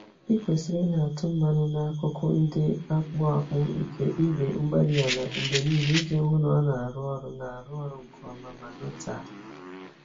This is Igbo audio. Ị kwesịrị ịna-atụ mmanụ n'akụkụ ndị na-akpụ akpụ nke igwe-mgbárí-ala mgbe niile iji hụ na ọ na-arụ ọrụ na-arụ ọrụ nke ọma ma nọtee ányá